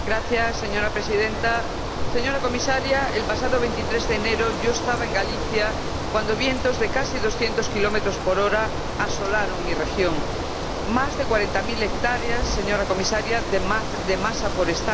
Señora Presidenta, señora Comisaria, el pasado 23 de enero yo estaba en Galicia cuando vientos de casi doscientos kilómetros por hora asolaron mi región más de cuarenta mil hectáreas, señora Comisaria, de masa forestal.